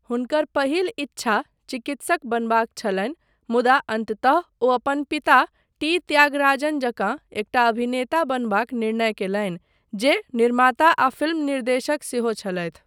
हुनकर पहिल इच्छा चिकित्सक बनबाक छलनि मुदा अन्ततः ओ अपन पिता टी. त्यागराजन जकाँ एकटा अभिनेता बनबाक निर्णय कयलनि, जे निर्माता आ फिल्म निर्देशक सेहो छलथि।